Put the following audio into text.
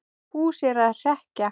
Fúsi er að hrekkja